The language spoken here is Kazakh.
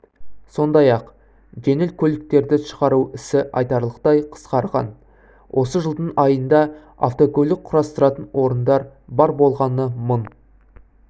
сондай-ақ жеңіл көлікерді шығару ісі айтарлықтай қысқарған осы жылдың айында автокөлік құрастыратын орындар бар болғаны мың